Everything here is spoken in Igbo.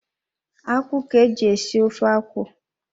Akwụ ka-eji esi ofe akwụ.